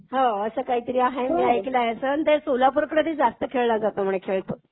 हो असं काहीतर आहे मी ऐकलंय. कारण तो सोलापूरकडे जास्त खेळला जातो म्हणे खेळ तो.